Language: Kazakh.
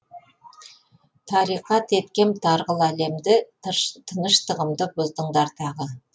тариқат еткем тарғыл әлемді тыныштығымды бұздыңдар тағы